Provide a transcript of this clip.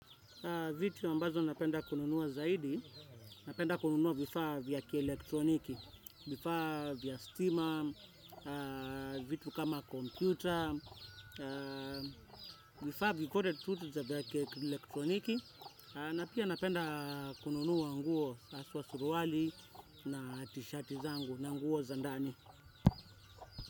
Vitu ambazo napenda kununuwa zaidi, napenda kununuwa vifaa vya kielektroniki, vifaa vya stima, na vitu kama kompyuter, vifaa vikode tu vya kielektroniki, na pia napenda kununuwa nguo haswa suruwali na tishati zangu na nguo zandani.